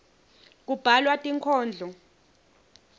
kubhalwa tinkhondlo